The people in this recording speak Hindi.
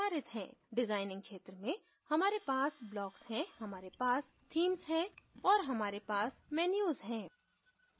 डिजाइनिंग क्षेत्र में हमारे पास blocks हैं हमारे पास themes हैं और हमारे पास menus है